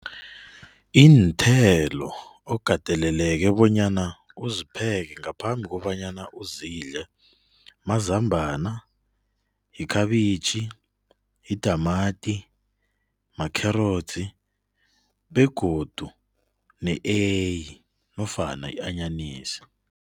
Iinthelo okateleleke bonyana uzipheke ngaphambi kobanyana uzidle mazambana, ikhabitjhi, yitamati, makherotsi, begodu ne-eyi nofana i-anyanisi.